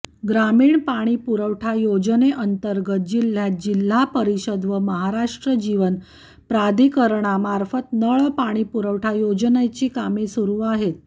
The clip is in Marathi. ग्रामीण पाणीपुरवठा योजनेंतर्गत जिल्ह्यात जिल्हा परिषद व महाराष्ट्र जीवन प्राधिकरणामार्फत नळपाणीपुरवठा योजनेची कामे सुरू आहेत